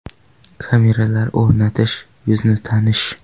Kameralar o‘rnatish, yuzni tanish.